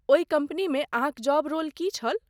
ओहि कम्पनीमे अहाँक जॉब रोल की छल?